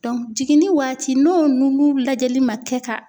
jiginni waati n'o nungu lajɛli ma kɛ ka